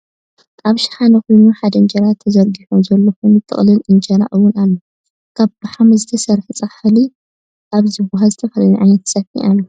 ኣብ ሽሓነ ኮይኑ ሓደ እንጀራ ተዘሪጊሑ ዘሎ ኮይኑ ጥቅላል እንጀራ እውን ኣሎ። ካብ ብሓመድ ዝተሰረሐ ፃሕሊ ኣብ ዝብሃል ዝተፈላለየ ዓይነት ፀቢሒ ኣሎ።